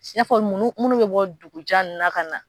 I y'afɔ fɔ nunnu munnu bɛ bɔ dugu jan nunnu na kana.